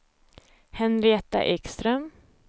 Henrietta Ekström